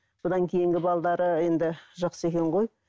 бұдан кейінгі енді жақсы екен ғой